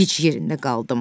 Gic yerində qaldım.